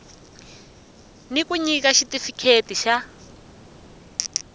ni ku nyika xitifikheti xa